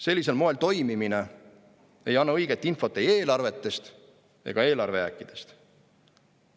Sellisel moel toimimine ei anna õiget infot ei eelarvetest ega eelarvejääkidest.